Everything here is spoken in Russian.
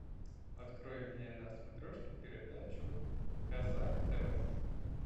открой мне на смотрешке передачу казах тв